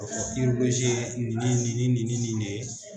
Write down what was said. Yiri gosi ye ni ni ni ni de ye.